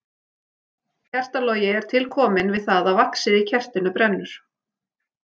Kertalogi er til kominn við það að vaxið í kertinu brennur.